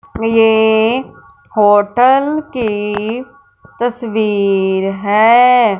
ये होटल की तस्वीर है।